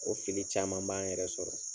O fili caman b'an yɛrɛ sɔrɔ.